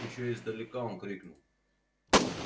ещё издалека он крикнул